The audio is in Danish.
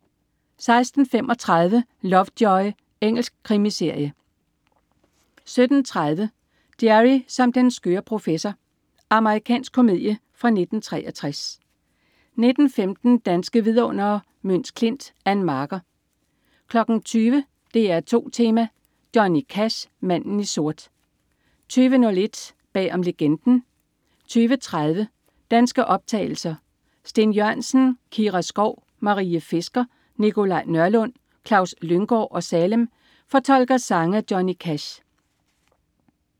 16.35 Lovejoy. Engelsk krimiserie 17.30 Jerry som den skøre professor. Amerikansk komedie fra 1963 19.15 Danske vidundere: Møns Klint. Ann Marker 20.00 DR2 Tema: Johnny Cash. Manden i sort 20.01 Bag om Legenden 20.30 Danske optagelser. Steen Jørgensen, Kira Skov/Marie Fisker, Nikolaj Nørlund, Klaus Lynggaard og Salem fortolker sange af Johnny Cash